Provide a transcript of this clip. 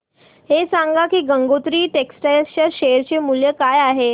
हे सांगा की गंगोत्री टेक्स्टाइल च्या शेअर चे मूल्य काय आहे